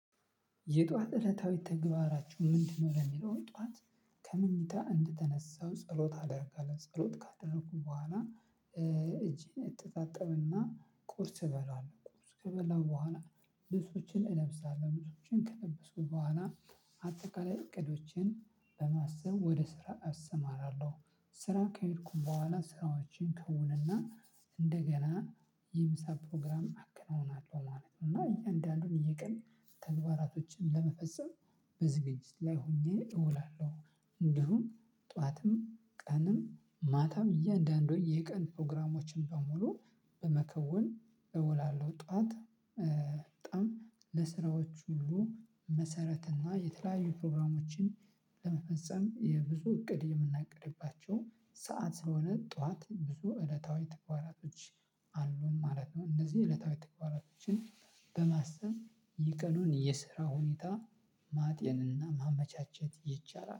የጧት እለታዊ ተግባራቸው ምንድነው? ለሚለው ጧት ከመኝታ እንደተነሳው ጸሎት አደርጋለሁ። ጸሎት ካደረኩ በኋላ እጄን እተጣጠብና ቁርስ እበላለሁ። ቁርስ ከበላሁ በኋላ ልብሶቼን እለብሳለሁ። ልብሶቼን ከለበሱ በኋላ አጠቃላይ እቅዶችን በማሰብ ወደ ስራ እሰማራለሁ። ስራ ከሄድኩኝ በኋላ ስራዎችን ከውንና እንደገና የምሳ ፕሮግራም አከናውናለሁ ማለት ነው። እና እያንዳንዱን የቀን ተግባሮችን በመፈጸም በዝግጅት ላይ ሆኘ እውላለሁ ማለት ነው። እንዲሁም ጠዋትም፤ ቀንም፤ ማታም፤ እያንዳንዱን የቀን ፕሮግራሞቼን በሙሉ በመከወን እውላለሁ። ጠዋት በጣም ለስራዎች ሁሉ መሰረት እና የተለያዩ ፕሮግራሞችን ለመፈጸም የብዙ እቅድ የምናቅድባቸው ሰዓት ስለሆነ ጠዋት ብዙ እለታዊ ተግባራቶች አሉን ማለት ነው። እነዚህ የዕለታዊ ተግባራቶችን በማሰብ የቀኑን የስራ ሁኔታ ማጤንና ማመቻቸት ይቻላል።